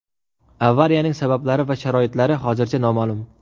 Avariyaning sabablari va sharoitlari hozircha noma’lum.